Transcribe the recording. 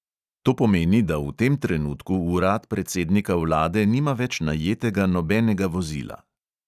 To pomeni, da v tem trenutku urad predsednika vlade nima več najetega nobenega vozila.